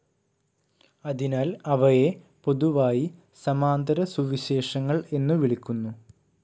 അതിനാൽ അവയെ പൊതുവായി സമാന്തരസുവിശേഷങ്ങൾ എന്നു വിളിക്കുന്നു.